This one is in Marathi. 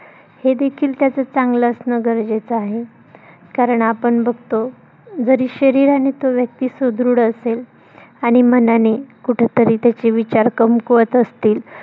हे देखील त्याच चांगलं असणं गरजेचं आहे. कारण आपण बघतो जरी शरीरानी तो व्यक्ती सुदृढ असेल आणि मनानी कुठेतरी त्याचे विचार कमकुवत असतील.